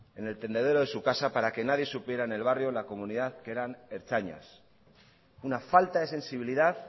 en el tendedero de su casa para que nadie supiera en el barrio en la comunidad que eran ertzainas una falta de sensibilidad